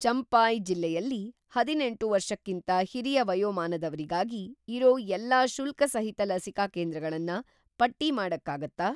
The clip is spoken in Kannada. ಚಂಪಾಯ್ ಜಿಲ್ಲೆಯಲ್ಲಿ ಹದಿನೆಂಟು ವರ್ಷಕ್ಕಿಂತ ಹಿರಿಯ ವಯೋಮಾನದವ್ರಿಗಾಗಿ‌ ಇರೋ ಎಲ್ಲಾ ಶುಲ್ಕಸಹಿತ ಲಸಿಕಾ ಕೇಂದ್ರಗಳನ್ನ ಪಟ್ಟಿ ಮಾಡಕ್ಕಾಗತ್ತಾ?